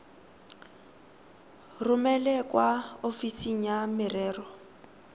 romele kwa ofising ya merero